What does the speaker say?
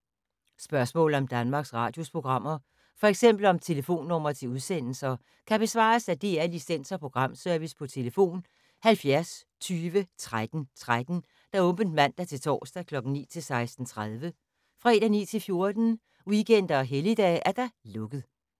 Spørgsmål om Danmarks Radios programmer, f.eks. om telefonnumre til udsendelser, kan besvares af DR Licens- og Programservice: tlf. 70 20 13 13, åbent mandag-torsdag 9.00-16.30, fredag 9.00-14.00, weekender og helligdage: lukket.